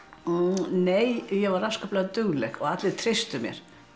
nei ég var afskaplega dugleg og allir treystu mér